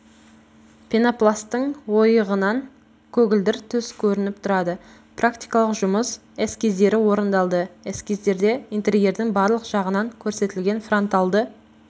пенопласттың ойығынан көгілдір түс көрініп тұрады практикалық жұмыс эскиздері орындалды эскиздерде интерьердің барлық жағынан көрсетілген франталды